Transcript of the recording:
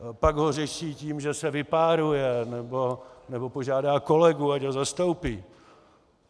Pak ho řeší tím, že se vypáruje nebo požádá kolegu, ať ho zastoupí.